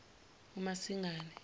umasingane